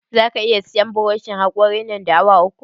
Za ka iya sayan buroshin haƙorin nan da awa uku?